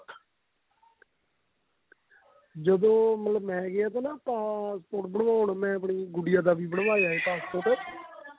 ਜਦੋਂ ਮਤਲਬ ਮੈਂ ਗਿਆ ਤਾ ਨਾ passport ਬਣਵਾਉਣ ਮੈਂ ਆਪਣੀ ਗੁਡੀਆ ਦਾ ਵੀ ਬਣਵਾਇਆ ਹੈ passport